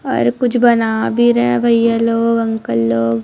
और कुछ बना भी रहे है भैया लोग अंकल लोग--